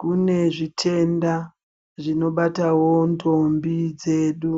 Kune zvitenda zvinobatawo ndombi dzedu